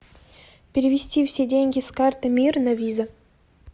перевести все деньги с карты мир на виза